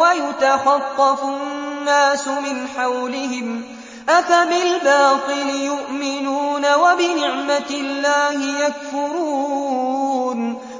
وَيُتَخَطَّفُ النَّاسُ مِنْ حَوْلِهِمْ ۚ أَفَبِالْبَاطِلِ يُؤْمِنُونَ وَبِنِعْمَةِ اللَّهِ يَكْفُرُونَ